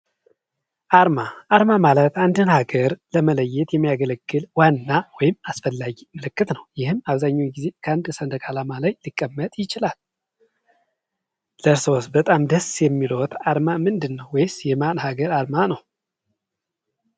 አርማ፦ አርማ ማኤት አንድን ሀገር ለመለየት የሚያገለግል ዋና ወይም አስፈላጊ ምልክት ነው። ይህም ከአንድ ሰንደቅ ዓላማ ላይ ሊቀመጥ ይችላል። በጣም ደስ የሚለው አርማ ምንድነው ወይስ የማል ሀገር አርማ ነው?